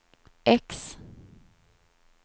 X